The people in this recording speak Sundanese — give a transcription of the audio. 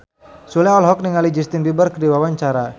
Sule olohok ningali Justin Beiber keur diwawancara